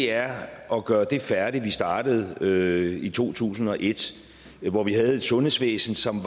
er at gøre det færdigt vi startede i to tusind og et hvor vi havde et sundhedsvæsen som